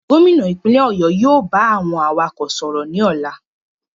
Gómìnà ìpínlẹ̀ ọ̀yọ́ yóò ba àwọn awakọ̀ sọ̀rọ̀ ní ọlá.